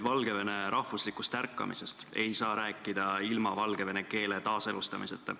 Valgevene rahvuslikust ärkamisest ei saa rääkida ilma valgevene keele taaselustamiseta.